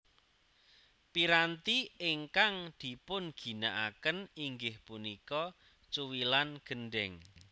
Piranti ingkang dipunginakaken inggih punika cuwilan gendhèng